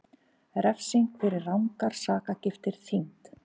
Refsing fyrir rangar sakargiftir þyngd